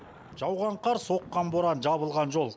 жауған қар соққан боран жабылған жол